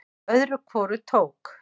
Öðru hvoru tók